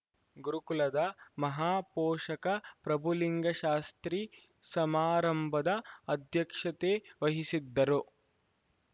ಗುರುಕುಲದ ಮಹಾಪೋಷಕ ಪ್ರಭುಲಿಂಗಶಾಸ್ತ್ರಿ ಸಮಾರಂಭದ ಅಧ್ಯಕ್ಷತೆವಹಿಸಿದ್ದರು